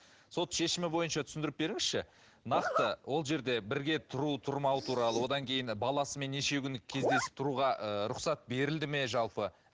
сот шешімі бойынша түсіндіріп беріңізші нақты ол жерде бірге тұру тұрмау туралы одан кейін баласымен неше күн кездесіп тұруға ыыы рұқсат берілді ме жалпы